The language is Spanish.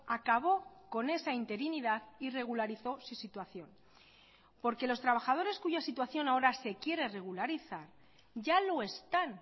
acabó con esa interinidad y regularizó su situación porque los trabajadores cuya situación ahora se quiere regularizar ya lo están